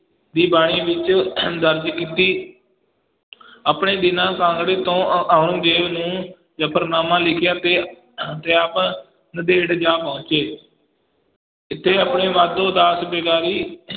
ਦੀ ਬਾਣੀ ਵਿੱਚ ਦਰਜ ਕੀਤੀ ਆਪਣੇ ਦੀਨਾ ਕਾਂਗੜੇ ਤੋਂ ਔ ਔਰੰਗਜ਼ੇਬ ਨੂੰ ਜਫ਼ਰਨਾਮਾ ਲਿਖਿਆ ਤੇ ਤੇ ਆਪ ਨੰਦੇੜ ਜਾ ਪਹੁੰਚੇ ਇੱਥੇ ਆਪਣੇ ਮਾਧੋ ਦਾਸ ਵੈਗਾਰੀ